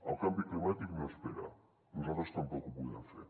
el canvi climàtic no espera nosaltres tampoc ho podem fer